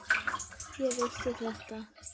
Ég vissi þetta!